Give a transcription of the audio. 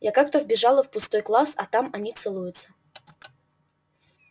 я как-то вбежала в пустой класс а там они целуются